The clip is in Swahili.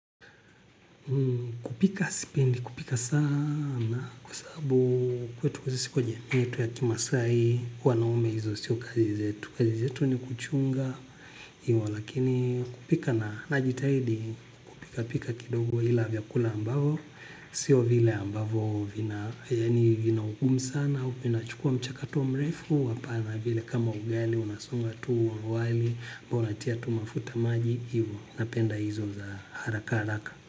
Kupika spendi kupika sana kwa sababu kwetu kuzisi kwa jamii yetu ya kimasai wanaume hizo sio kazi zetu kazi zetu ni kuchunga. Iwa lakini kupika na najitahidi kupika pika kidogo ila vya kula ambavo sio vile ambavo vina yaani vina ukumu sana. Upina chukua mchakatu mrefu wapana vile kama ugali unasonga tu wali ambao natia tu mafuta maji hivyo napenda hizo za haraka haraka.